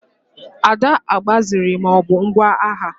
Ada agbaziri ma ọ bụ ngwa agha.